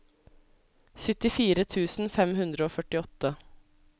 syttifire tusen fem hundre og førtiåtte